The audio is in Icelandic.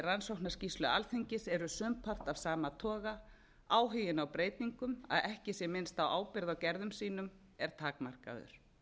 rannsóknarskýrslu alþingis eru sumpart af sama toga áhuginn á breytingum að ekki sé minnst á ábyrgð á gerðum sínum er takmarkaður